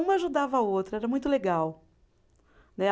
Uma ajudava a outra, era muito legal. Né